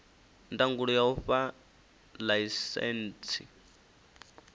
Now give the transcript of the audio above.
ndangulo ya u fha ḽaisentsi